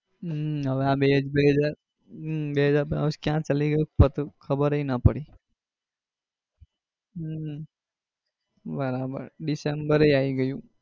હમ બે હજાર બે હજાર હમ બે હજાર બાવીસ ક્યાં ચાલી ગયું પતો ય ખબરે ના પડી હમ બરાબર ડિસેમ્બરે આવી ગયું.